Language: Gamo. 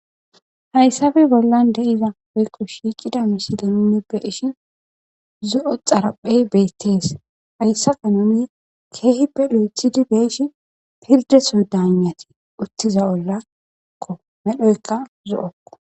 hayssape bollan de'iza oykko shiicida misidanunne bedishin zo'o xaraphey beyttees hayssa kanomi keehippe lo'ethidi be'eshi pirdeso daanati uttiza ollakko medhoykka zo'okko